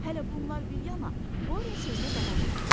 Hələ bunlar bir yana, Borya sözünə davam etdi.